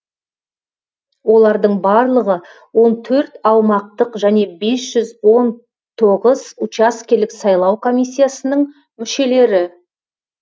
олардың барлығы он төрт аумақтық және бес жүз он тоғыз учаскелік сайлау комиссиясының мүшелері